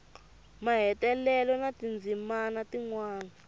mahetelelo na tindzimana tin wana